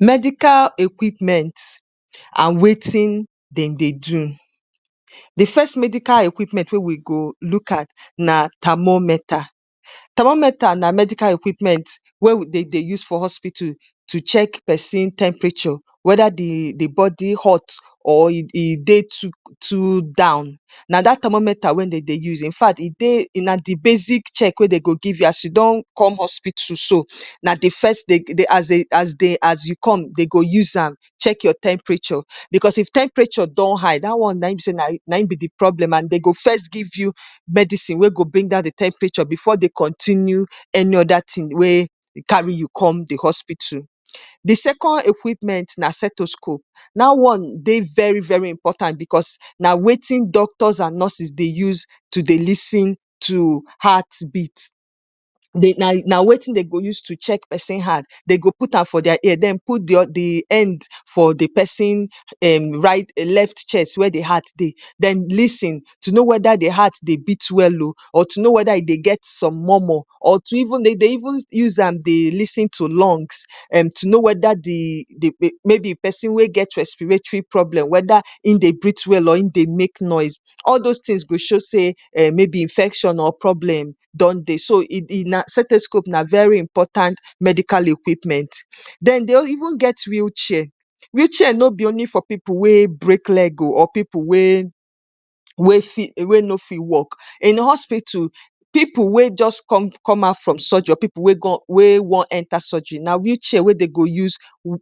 ‎medical equipment and wetin dem dey do di first medical equipment wey we go look at na termometa termometer na medical equipment wey de dey use for hospital to check pesin temprature weda di dibody hot or dey to down na dat thermometa weyn dem dey use in fact e dey ndi basic check wey dem go give yasi don com hospital so na di first dey aas u come dey go use am check your temperature becos if temprature don high da one naim be say be de problem dey go first give u medicine wen go calm down de temperature, de second equipment na setoscope da one dey very important bcos na wetin doctors and nurses take dey lis ten to heart beat dey de use check pesin heart, dey go out am for their ear den lisin to no weda de heart de beat well o or to no weda e dey get some mormor dey de even use am dey lisin to lungs to no weda de weda pesin dey get respiratry problem weda in dey breath well or in dey make noise all dos tins go show say problem don dey so setoscope na very important medical equipmen. Den dey even get weel chair, week chair no be only for pipu weeks break leg o or pipu we no fit walk I'm hospitu, pipu we just come out from surgery or pipu wen Gon we won enter surgery na week chair we Dem go use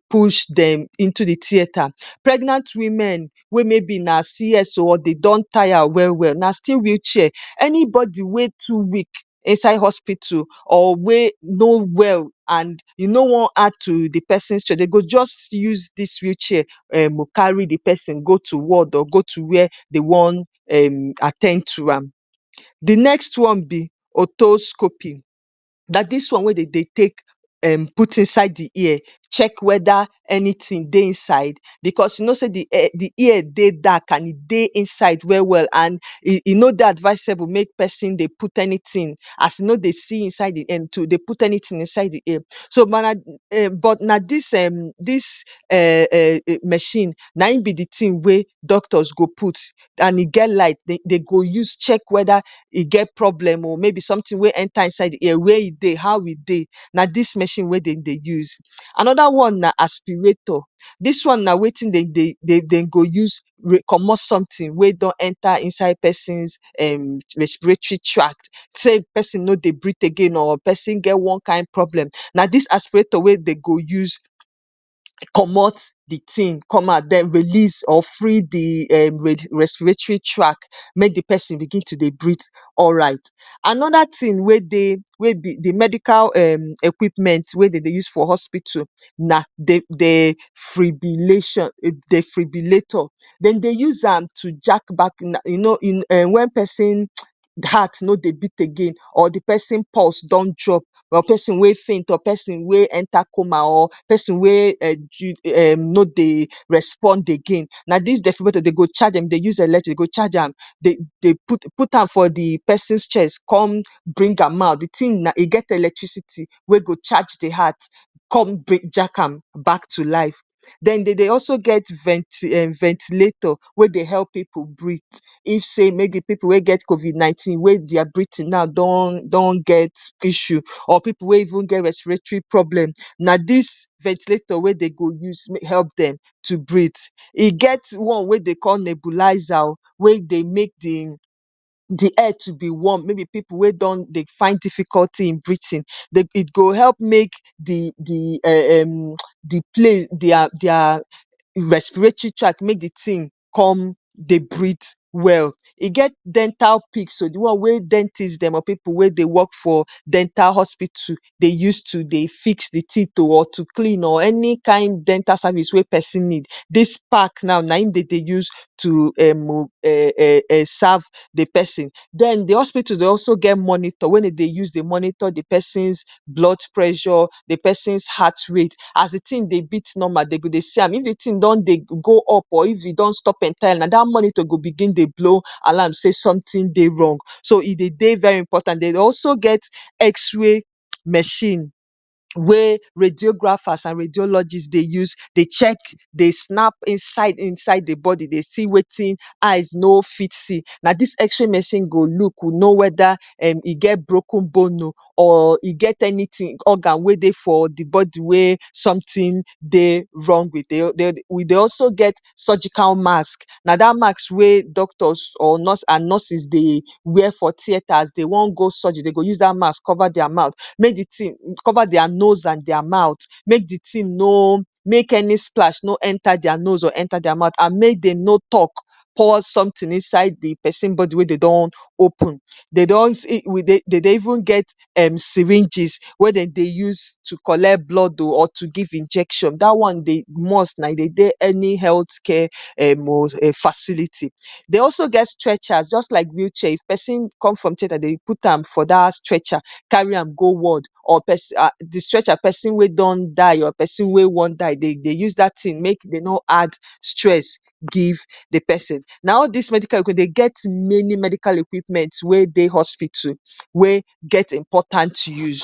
push Dem into de tieta pregnant women we mayb na cs o or dey don taya welwel na still weel chair. Anybody we too weak inside hospitu or we no well and e no waon add to de pesin stress dey go jus use dis weel chair carry de pesin go to ward or go to were dey wan at ten d to am. de next one be otoscopy na dis one we Dem dey take out inside de ear to check weda anytime dey inside bcos u no say de ear den dark and e dey inside welwel and e no dey advisable make pesin dey put anytin inside de ear but na dis um um dis machine na I'm be de tin we doctor's go put and e get light, dey go check weda sometin enta inside de ear na dis machine we Dem dey use. Anida one na aspirator dis one na de tin we Dem dey use comot sometin wen enter inside pesin respiratory track say person no dey breath again or pesin ge on kin problem na dis aspirator we Dem go use comot de tin come out den dey go use or free de um re respiratory track make de person begin to dey breath alright anoda tin we dey um dey medical um equipment we dey de use for hospitu nadefribilation defribilator Dem dey use am to hack back you no wen pesin heart no dey beat again or de pesin purse don drop or person we faint or pesin we enter coma or person we de no dey respond again na dis defribilator Dem go charge am put am for de pesin's chest come bring am out e get electricity we go charge de heart. dey de also get venti ventilator we dey help pipu breath if say pipu we get COVID 19 their breathing now don get don get issue or pipu wen even get respiratry problem na dis ventilator we dey go use help dem to breath. E get one we dewe dey call neculizer o de edge de warm mayb pipu we dey find difficulty in breathing e go help make de d um um de plane dia dia um respiratory track make de tin come dey breath well e get dental pixel de one wen dental pipu dey use de work for dental hospitu dey use to dey fix de teeth o or clean de teeth any kind of dental service we person need dis pack now naim dey de use to um um um serve de person den de hospitu dey also get monitor we dey de use dey monitor de person's blood pressure and de pesin's heart rate as de tin dey bread Dem go dey see am if de tin dom dey go up or if e don stop dating monitor go begin dey blow alarm say something dey wrong so e dey de very important. dey also get x-ray machine we radiografers and radiologist dey use dey snap inside inside de body dey see wetin eye no fit see, na dis x-ray machine go look to no weda e get broken bone o or e get any organ we dey for de body we sometin dey wrong wit we dey also get surgical mask na sat mask we doctors or nurse and nurses dey wear for tieta if Dem wan go surgery dey go use dat mask cover their mouth make de tin cover their nose and their mouth make any splash no enter their nose and their mouth or make Dem no talk pour sometin inside de pesin we Dem don tear open dey son dey de even get um syringes we Dem dey use to collect blood o or to give injection da one dey must na e dey de any health care um facility .de also get stretcher jus like weel chair, if pesin come from tieta Dem put am for da stretcher carry am go ward or de stretcher person we don sir or person we wan die use dat tin make dey no add stress give de person na all dis medica equipment dey get many medical equipment we dey hospitu we get important use